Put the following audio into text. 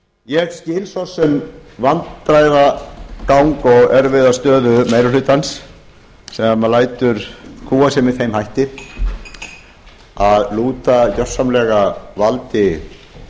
ég skil svo sem vandræðagang og erfiða stöðu meiri hlutans sem lætur kúga sig með þeim hætti að lúta gjörsamlega valdi